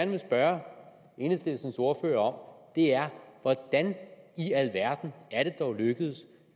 vil spørge enhedslistens ordfører om er hvordan i alverden er det dog lykkedes